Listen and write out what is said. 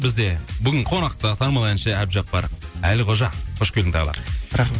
бізде бүгін қонақта танымал әнші әбдіжаппар әлқожа қош келдің тағы да